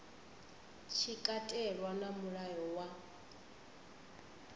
tshi katelwa na mulayo wa